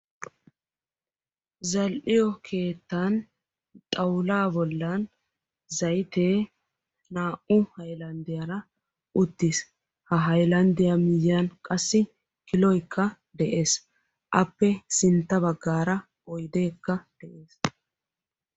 Zal"iyo keettan xawulla bollan zaytte naa"u haylanddiyaara uttiis. Haylanddiyaa miyyiyan qassi kiloykka de'ees. Appe sintta baggaara qassi oyddekka de'ees